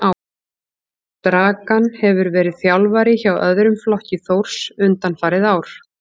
Dragan hefur verið þjálfari hjá öðrum flokki Þórs undanfarin ár.